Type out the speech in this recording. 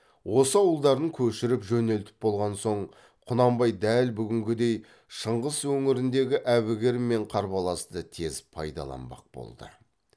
осы ауылдарын көшіріп жөнелтіп болған соң құнанбай дәл бүгінгідей шыңғыс өңіріндегі әбігер мен қарбаласты тез пайдаланбақ болды